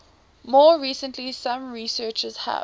more recently some researchers have